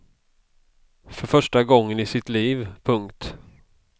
För första gången i sitt liv. punkt